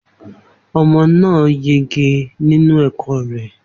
Omo náà yege nínú ẹ̀kọ́ rẹ